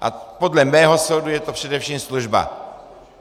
A podle mého soudu je to především služba.